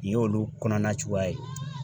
Nin y'olu kɔnɔna cogoya ye .